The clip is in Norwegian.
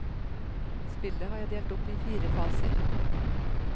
Spillet har jeg delt opp i fire faser.